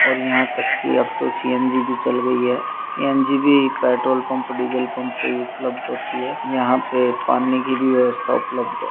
और यहाँ तक की अब तो सी.एन.जी. भी चल गई है सी.एन.जी. भी पेट्रोल पंप डीज़ल पंप पे उपलब्ध होती है यहाँ पे पानी की भी व्यवस्था होती है।